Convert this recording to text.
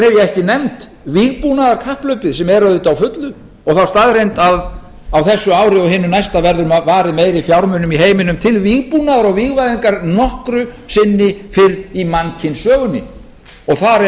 ekki nefnt vígbúnaðarkapphlaupið sem er auðvitað á fullu og þá staðreynd að á þessu ári og hinu næsta verður varið meiri fjármunum í heiminum til vígbúnaðar og vígvæðingar en nokkru sinni fyrr í mannkynssögunni þar eru